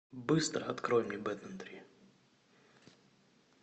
быстро открой мне бэтмен три